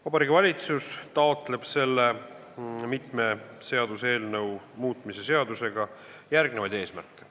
Vabariigi Valitsus taotleb selle mitme seaduse muutmise seaduse eelnõuga järgmisi eesmärke.